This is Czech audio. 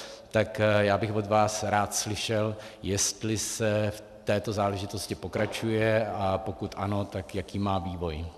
Tak já bych od vás rád slyšel, jestli se v této záležitosti pokračuje, a pokud ano, tak jaký má vývoj.